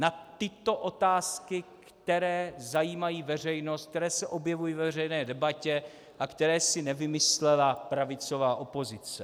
Na tyto otázky, které zajímají veřejnost, které se objevují ve veřejné debatě a které si nevymyslela pravicová opozice.